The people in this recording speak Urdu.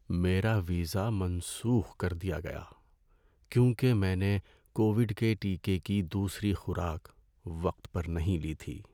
میرا ویزا منسوخ کر دیا گیا کیونکہ میں نے کووڈ کے ٹیکے کی دوسری خوراک وقت پر نہیں لی تھی۔